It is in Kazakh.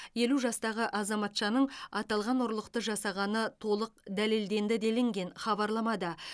елу жастағы азаматшаның аталған ұрлықты жасағаны толық дәлелденді делінген хабарламада